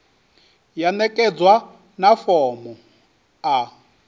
ya ṋekedzwa na fomo a